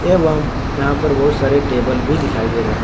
एवं यहां पर बहुत सारे टेबल भी दिखाई दे रहे है।